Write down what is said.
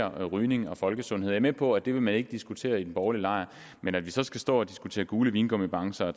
om rygning og folkesundhed jeg er med på at det vil man ikke diskutere i den borgerlige lejr så skal stå og diskutere gule vingummibamser